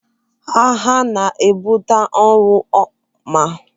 Agha na-ebute ọnwụ ma ọ bụrụ na akwụsịghị ya.